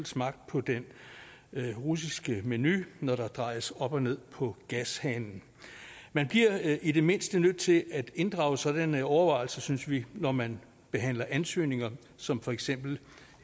smagt på den russiske menu når der drejes op og ned på gashanen man bliver i det mindste nødt til at inddrage sådanne overvejelser synes vi når man behandler ansøgninger som for eksempel